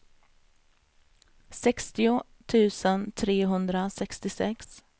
sextio tusen trehundrasextiosex